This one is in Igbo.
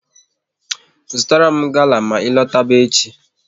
Zụtara m gala ma ị lọtaba echi!